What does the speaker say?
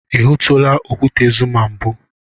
I hụtụla okwute Zuma mbụ?